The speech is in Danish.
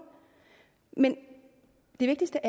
men det vigtigste